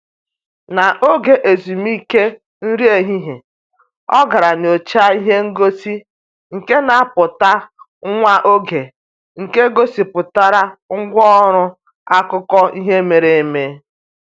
N'oge ezumike nri ehihie, ọ gara nyọchaa ihe ngosi nke na-apụta nwa oge nke gosipụtara ngwa ọrụ akụkọ ihe mere eme.